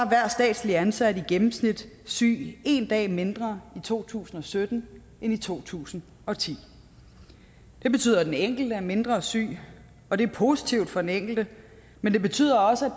hver statslig ansat i gennemsnit syg en dag mindre i to tusind og sytten end i to tusind og ti det betyder at den enkelte er mindre syg og det er positivt for den enkelte men det betyder også at